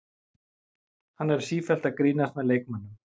Hann er sífellt að grínast með leikmönnum.